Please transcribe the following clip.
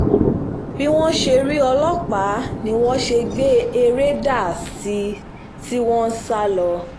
bí wọ́n ṣe rí ọlọ́pàá ni wọ́n gbé ère dà sí i tí wọ́n ń sá lọ